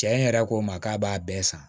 Cɛ in yɛrɛ ko n ma k'a b'a bɛɛ san